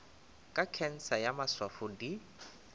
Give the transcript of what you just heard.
ka khensa ya maswafo di